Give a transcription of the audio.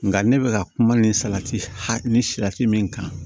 Nka ne bɛ ka kuma nin salati hɛ ni salati min kan